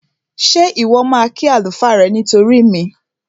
Ṣé Ìwọ́ máa kí àlùfáà rẹ nítorí mi?